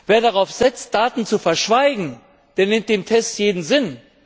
Wer darauf setzt, Daten zu verschweigen, der nimmt dem Test jeden Sinn.